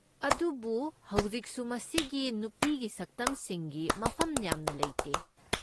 ꯑꯗꯨꯕꯨ ꯍꯧꯖꯤꯛꯁꯨ ꯃꯁꯤꯒꯤ ꯅꯨꯄꯤꯒꯤ ꯁꯛꯇꯝꯁꯤꯡꯒꯤ ꯃꯐꯝ ꯌꯥꯝꯅ ꯂꯩꯇꯦ꯫